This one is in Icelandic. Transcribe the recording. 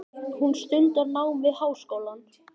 Hún stundar nám við háskólann.